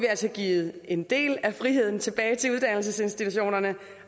altså givet en del af friheden tilbage til uddannelsesinstitutionerne